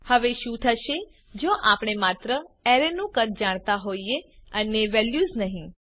હવે શું થશે જો આપણે માત્ર અરેનું કદ જાણતા હોઈએ અને વેલ્યુઝ નહિ